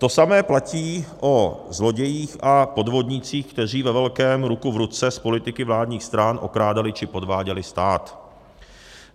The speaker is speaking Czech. To samé platí o zlodějích a podvodnících, kteří ve velkém ruku v ruce s politiky vládních stran okrádali či podváděli stát.